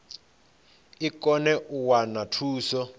i kone u wana thuso